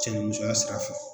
Cɛnimusoya sira fɛ